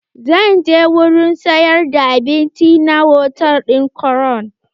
Zan je wurin sayar da abinci na hotal ɗin crown.